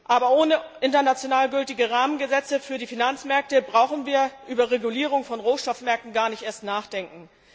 Aber ohne international gültige Rahmengesetze für die Finanzmärkte brauchen wir über die Regulierung von Rohstoffmärkten gar nicht erst nachzudenken.